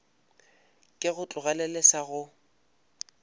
ke go tlogelele sa go